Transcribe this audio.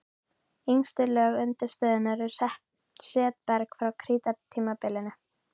Yngstu lög undirstöðunnar eru setberg frá krítartímabilinu.